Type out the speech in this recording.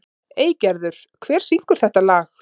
Eygerður, hver syngur þetta lag?